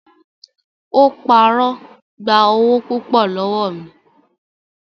Ó parọ́ gba owó púpọ̀ lọ́wọ́ mi.